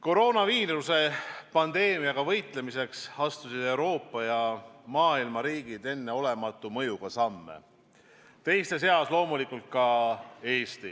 Koroonaviiruse pandeemiaga võitlemiseks astusid Euroopa ja muu maailma riigid enneolematu mõjuga samme, teiste seas loomulikult ka Eesti.